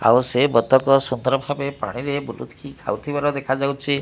ଆଉ ସେ ବତକ ସତର୍କ ଭାବେ ପାଣିରେ ବୁଲିକି ଖାଉଥିବାର ଦେଖାଯାଉଚି ।